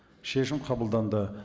шешім қабылданды